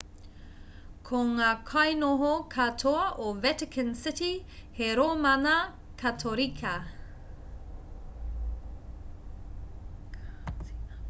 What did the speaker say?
ko ngā kainoho katoa o vatican city he rōmana katorika